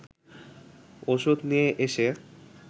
ওষুধ নিয়ে এসে